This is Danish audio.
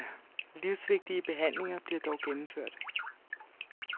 Livsvigtige behandlinger bliver dog gennemført.